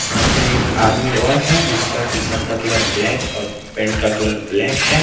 हमने एक आदमी और है जिसका टी_शर्ट का कलर ब्लैक और पेट का कलर ब्लैक है।